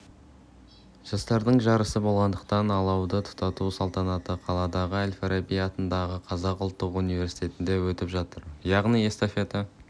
жастардың жарысы болғандықтан алауды тұтату салтанаты қаладағы әл-фараби атындағы қазақ ұлттық университетінде өтіп жатыр яғни эстафета